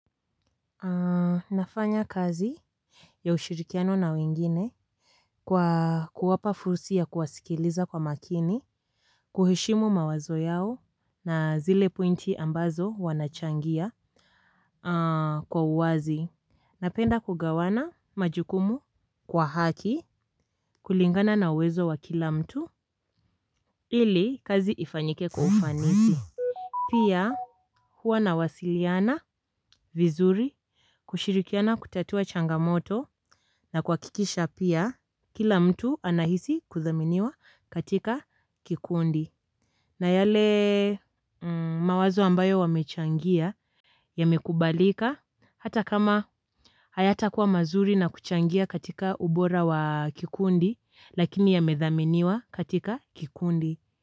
Nafanya kazi ya ushirikiano na wengine. Kwa kuwapa fursi ya kuwasikiliza kwa makini. Kuheshimu mawazo yao na zile pointi ambazo wanachangia. Kwa uwazi napenda kugawana majukumu. Kwa haki kulingana na uwezo wa kila mtu ili kazi ifanyike kwa ufanisi. Pia huwa nawasiliana vizuri. Kushirikiana kutatua changamoto na kuhakikisha pia, kila mtu anahisi kuthaminiwa katika kikundi. Na yale mawazo ambayo wamechangia yamekubalika. Hata kama hayatakuwa mazuri na kuchangia katika ubora wa kikundi, lakini yamethaminiwa katika kikundi.